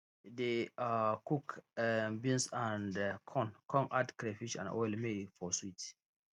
dey um cook um beans and um corn con add crayfish and oil may e for sweet